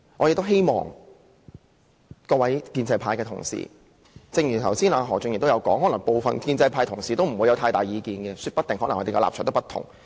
正如何俊賢議員剛才所說，可能部分建制派同事不會有太大意見，說不定他們的立場不同。